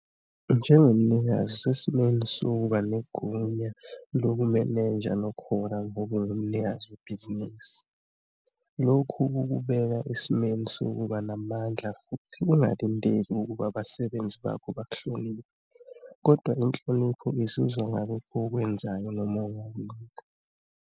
Njengomnikazi usesimeni sokuba negunya lokumenenja nokuhola ngoba ungumnikazi webhinisi. Lokhu kukubeka esimeni sokuba namandla futhi ingalindela ukuba abasebenzi bakho bakuhloniphe, kodwa inhlonipho izuzwa ngalokho okwenzayo noma ongakwenzi.